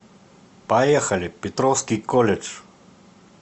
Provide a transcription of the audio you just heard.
поехали петровский колледж